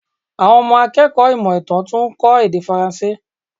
Àwọn ọmọ akẹ́kọ̀ọ́ ìmọ̀ ìtàn tún ń kó èdè Faranse.